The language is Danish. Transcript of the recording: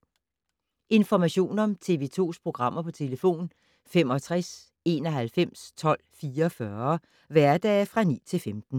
Information om TV 2's programmer: 65 91 12 44, hverdage 9-15.